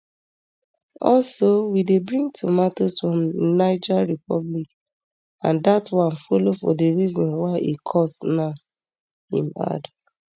also we dey bring tomatoes from niger republic and dat one follow for di reason why e cost now im add